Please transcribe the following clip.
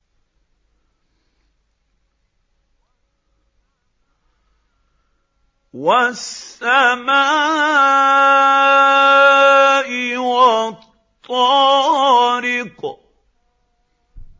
وَالسَّمَاءِ وَالطَّارِقِ